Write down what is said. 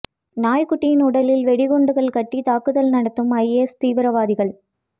நாய் குட்டியின் உடலில் வெடிகுண்டுகள் கட்டி தாக்குதல் நடத்தும் ஐஎஸ் தீவிரவாதிகள்